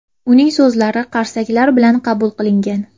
Uning so‘zlari qarsaklar bilan qabul qilingan.